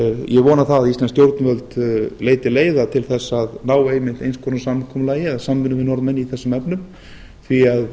ég vona að íslensk stjórnvöld leiti leiða til þess að ná einmitt eins konar samkomulagi eða samvinnu við norðmenn í þessum efnum því að